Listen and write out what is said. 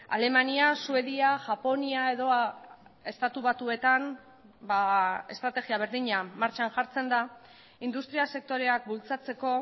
alemania suedia japonia edo estatu batuetan estrategia berdina martxan jartzen da industria sektoreak bultzatzeko